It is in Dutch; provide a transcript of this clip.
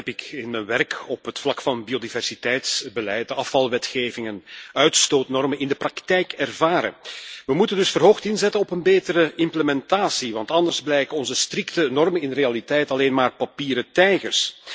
Dat heb ik in mijn werk op het vlak van biodiversiteitsbeleid, de afvalwetgeving en uitstootnormen in de praktijk ervaren. We moeten dus verhoogd inzetten op een betere implementatie, want anders blijken onze strikte normen in de realiteit alleen maar papieren tijgers.